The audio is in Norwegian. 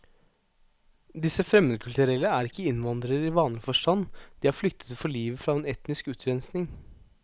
Disse fremmedkulturelle er ikke innvandrere i vanlig forstand, de har flyktet for livet fra en etnisk utrenskning.